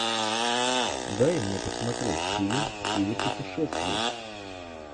дай мне посмотреть фильм в стиле путешествий